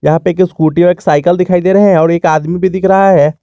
यहां पे एक स्कूटी एक साइकल दिखाई दे रहे हैं और एक आदमी भी दिख रहा है।